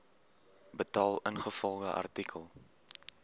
betaal ingevolge artikel